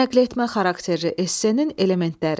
Nəqletmə xarakterli essenin elementləri.